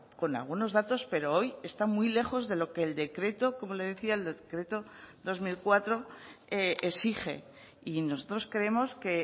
con algunos datos pero hoy está muy lejos de lo que el decreto como le decía el decreto dos mil cuatro exige y nosotros creemos que